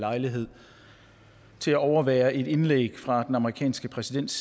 lejlighed til at overvære et indlæg fra den amerikanske præsidents